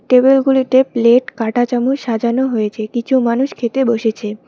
Table গুলিতে plate কাটা চামচ সাজানো হয়েছে কিছু মানুষ খেতে বসেছে।